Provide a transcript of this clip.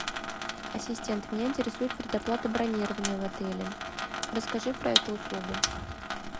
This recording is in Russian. ассистент меня интересует предоплата бронирования в отеле расскажи про эту услугу